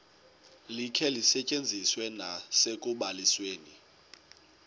likhe lisetyenziswe nasekubalisweni